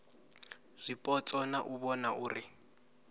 zwipotso na u vhona uri